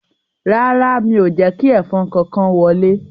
Rárá, mi ò jẹ́ kí ẹ̀fọn kankan wọlé